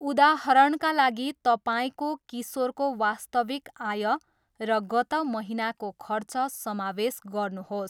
उदाहरणका लागि, तपाईँको किशोरको वास्तविक आय र गत महिनाको खर्च समावेश गर्नुहोस्।